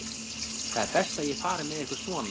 Það er best að ég fari með ykkur svona.